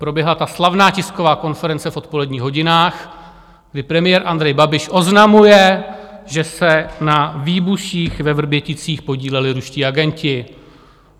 Proběhla ta slavná tisková konference v odpoledních hodinách, kdy premiér Andrej Babiš oznamuje, že se na výbuších ve Vrběticích podíleli ruští agenti.